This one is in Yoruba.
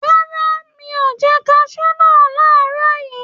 Rárá, mi ò jẹ kaṣú náà làárọ̀ yìí.